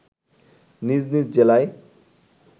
নিজ নিজ জেলায়